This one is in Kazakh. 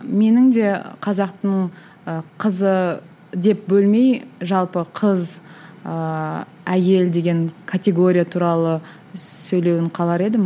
менің де қазақтың ы қызы деп бөлмей жалпы қыз ыыы әйел деген категория туралы сөйлеуін қалар едім